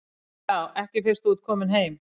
Ja, ekki fyrst þú ert kominn heim.